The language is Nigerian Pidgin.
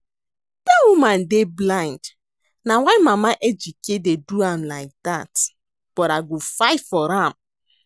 Dat woman dey blind na why mama Ejike dey do am like dat but I go fight for am